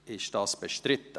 Ist das bestritten?